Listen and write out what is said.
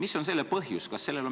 Mis on selle põhjus?